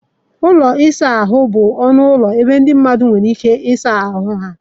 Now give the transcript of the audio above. Ụlọ ịsa ahụ bụ ọnụ ụlọ ebe ndị mmadụ nwere ike ịsa ahụ ha.